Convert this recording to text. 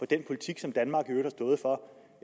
den politik som danmark